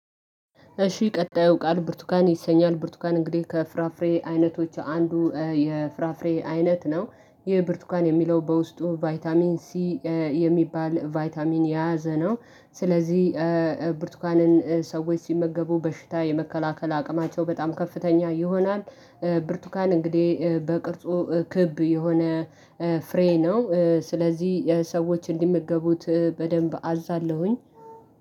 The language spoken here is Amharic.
እሺ ቀጣይ ቃል ብርቱካን ይሰኛል። ብርቱካን እንግዲህ ከፍራፍሬ አይነቶች አንዱ የፍራፍሬ አይነት ነው። ይህ ብርቱካን የሚለው በውስጡ ቫይታሚን ሲ የሚባል ቫይታሚን የያዘ ነው። ስለዚህ ብርቱካንን ሰዎች ሲመገቡ በሽታ የመከላከል አቅማቸው በጣም ከፍተኛ ይሆናል። ብርቱካን እንግዲህ በቅርጹ ክብ የሆነ ፍሬ ነው ስለዚህ ሰዎች እንዲመገቡት በደንብ አዛለሁኝ።